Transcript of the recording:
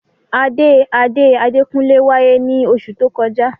Ade ade Adekunle waye ni osu to koja.